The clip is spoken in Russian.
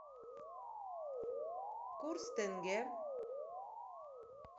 курс тенге